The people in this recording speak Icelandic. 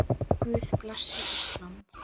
Guð blessi Ísland.